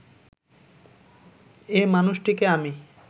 এ মানুষটিকে আমি